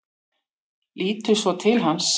Lítur svo til hans.